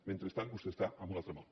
mentrestant vostè està en un altre món